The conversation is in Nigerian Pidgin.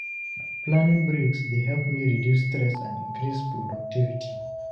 Planning breaks dey help me reduce stress and increase productivity.